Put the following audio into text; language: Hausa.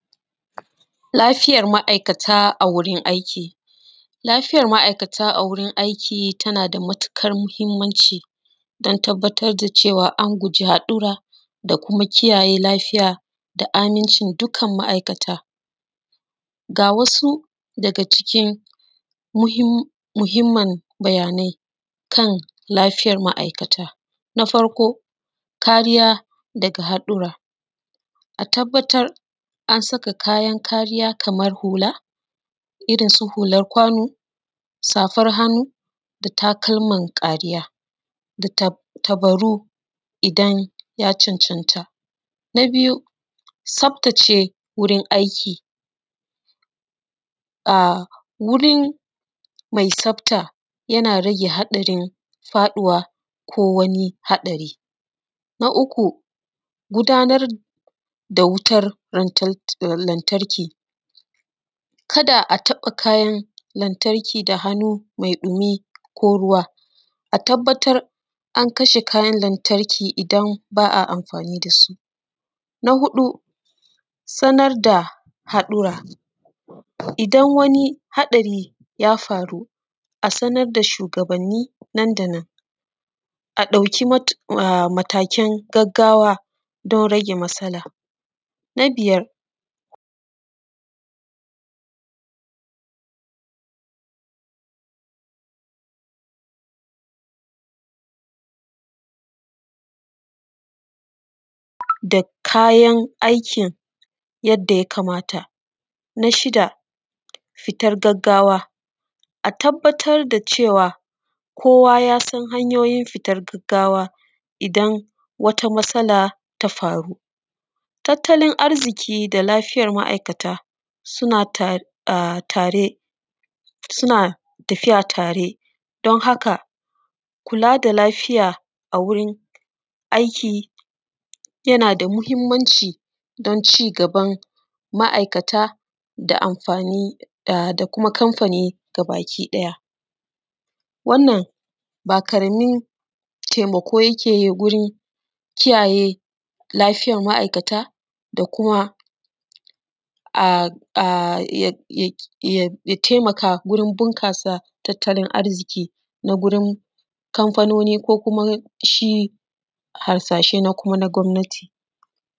Lafiyar ma'aikata a wurin aiki. Lafiyar ma'aikata a wurin aiki tana da matuƙar muhimmanci, don tabbatar da cewa an guji haɗura, da kuma kiyaye lafiya, da amincin dukan ma'aikata. Ga wasu daga cikin muhimm, muhimmin bayanai, kan lafiyar ma'aikata. Na farko, kariya daga haɗura. A tabbatar, an saka kayan kariya kamar hula, irin su hular kwano, safar hannu, da takalman kariya, da tab, tabaru idan ya cancanta. Na biyu, tsaftace wurin aiki. A, wuri mai tsafta, yana rage haɗarin faɗuwa ko wani haɗari. Na uku, gudanar da wutar lantarki. Kada a taɓa kayan lantarki da hannu mai ɗumi ko ruwa. A tabbatar an kashe kayan lantarki idan ba a amfani da su. Na huɗu, sanar da haɗura. Idan wani haɗari ya faru, a sanar da shugabanni nan-da-nan, a ɗauki matakin, a, gaggawa don rage matsala. Na biyar..., da kayan aikin yadda ya kamata. Na shida, fitar gaggawa. A tabbatar da cewa, kowa ya san hanyoyin fitar gaggawa, idan wata matsala ta faru. Tattalin arziƙi da lafiyar ma'aikata suna, a, tare, suna tafiya tare. Don haka, kula da lafiya a wurin aiki, yana da muhimmanci don cigaban ma'aikata da kuma kamfani gabakiɗaya. Wannan ba ƙaramin taimako yake yi wurin kiyaye lafiyar ma'aikata da kuma, a, a, ya taimaka wurin bunƙasa tattalin arziƙi, na gurin Kamfanoni, ko kuma shi harsashe na kuma na gwamnati.